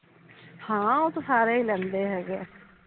ਹਾਂ ਓਹ ਤਾਂ ਸਾਰੇ ਹੀਂ ਲੈਂਦੇ ਹੈਗੇ ਆ